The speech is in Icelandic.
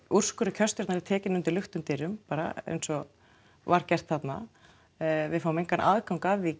úrskurður kjörstjórnar er tekinn fyrir lyktum dyrum bara eins og var gert þarna við höfum engan aðgang að því